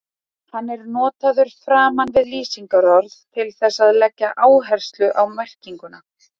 Hann er notaður framan við lýsingarorð til þess að leggja áherslu á merkinguna.